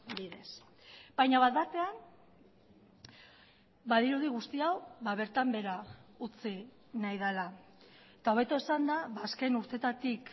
bidez baina bat batean badirudi guzti hau bertan behera utzi nahi dela eta hobeto esanda azken urteetatik